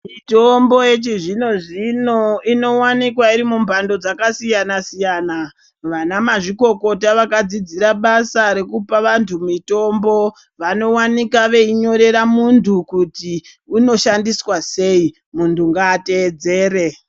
Mitombo yechizvino-zvino inovanikwa iri mumhando dzakasiyana-siyana. Vana mazvikokota vakadzidzira basa rekupa vantu mitombo. Vanovanika veinyorera muntu kuti unoshandiswa sei muntu ngaa tedzere.